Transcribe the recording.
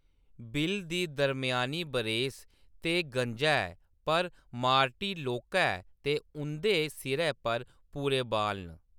Bill दी दरम्यानी बरेस ते गंजा ऐ, पर मार्टी लौह्‌‌‌का ऐ ते उंʼदे सिरै पर पूरे बाल न ।